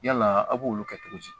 Yala a b'olu kɛ cogo di